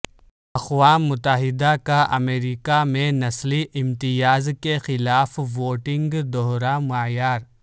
اقوام متحدہ کا امریکہ میں نسلی امتیاز کیخلاف ووٹنگ دوہرا معیار